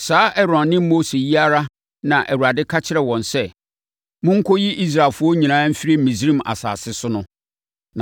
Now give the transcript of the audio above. Saa Aaron ne Mose yi ara na Awurade ka kyerɛɛ wɔn sɛ, “Monkɔyi Israelfoɔ nyinaa mfiri Misraim asase so” no.